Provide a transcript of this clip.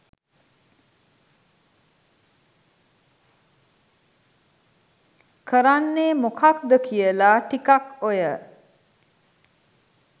කරන්නේ මොකක්ද කියලා ටිකක් ඔය